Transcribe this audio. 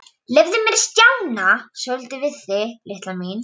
Leyfðu mér að stjana svolítið við þig, litla mín.